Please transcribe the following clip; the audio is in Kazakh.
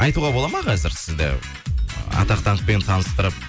айтуға болады ма қазір сізді ы атақ даңқпен таныстырып